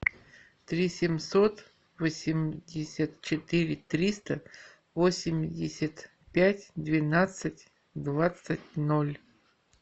три семьсот восемьдесят четыре триста восемьдесят пять двенадцать двадцать ноль